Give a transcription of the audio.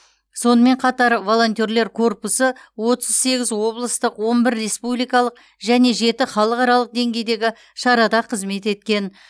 сонымен қатар волонтерлер корпусы отыз сегіз облыстық он бір республикалық және жеті халықаралық деңгейдегі шарада қызмет еткен